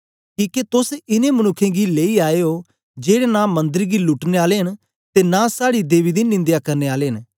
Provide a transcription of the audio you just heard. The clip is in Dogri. किके तोस इनें मनुक्खें गी लेई आए ओ जेड़े नां मन्दर गी लुटने आले न ते नां साड़ी देवी दी निंदया करने आले न